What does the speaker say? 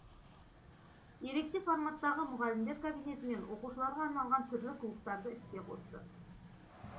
ерекше форматтағы мұғалімдер кабинеті мен оқушыларға арналған түрлі клубтарды іске қосты